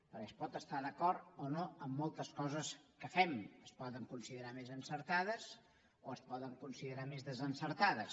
perquè es pot estar d’acord o no en moltes coses que fem es poden considerar més encertades o es poden considerar més desencertades